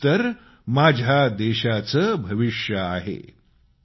हेच तर माझ्या देशाचं भविष्य आहेत